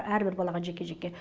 әрбір балаға жеке жеке